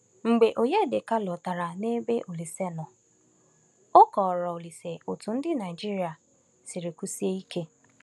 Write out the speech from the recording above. Mgbe Onyedịka lọtara n’ebe Olíse nọ, o kọrọ Olíse otú ndị Naịjirịa siri kwụsie ike.